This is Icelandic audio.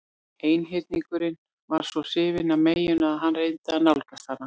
Einhyrningurinn var svo hrifinn af meyjunni að hann reyndi að nálgast hana.